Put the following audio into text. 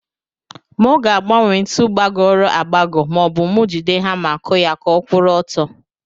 Mu ga agbanwe ntu gbagoro agbago ma obu mu jide hama aku ya ka ọkwuru ọtọ.